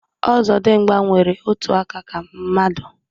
Ọzọdịmgba nwere otu aka ka mmadu